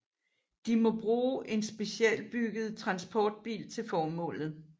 De må bruge en specialbygget transportbil til formålet